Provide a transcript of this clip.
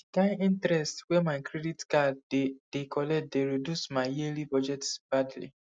di kind interest wey my credit card dey dey collect dey reduce my yearly budget badly